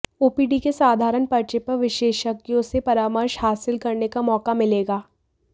OPD के साधारण पर्चे पर विशेषज्ञों से परामर्श हासिल करने का मौका मिलेगा